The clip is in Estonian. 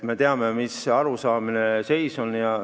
Me teame, mis seis on.